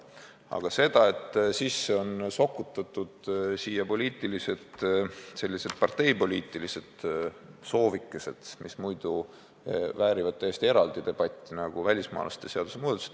Küll aga ei saa andestada seda, et eelnõusse on sokutatud sellised parteipoliitilised soovikesed, mis vääriksid täiesti eraldi debatti, näiteks välismaalaste seaduse muudatused.